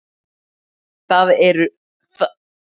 Það voru engir stafir, bara upphleyptir punktar!